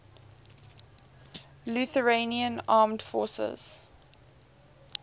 lithuanian armed forces